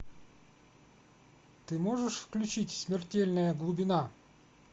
ты можешь включить смертельная глубина